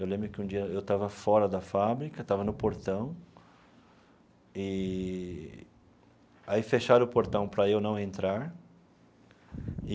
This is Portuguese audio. Eu lembro que um dia eu estava fora da fábrica, estava no portão, eee aí fecharam o portão para eu não entrar.